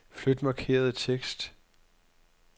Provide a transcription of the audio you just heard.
Flyt markerede tekst.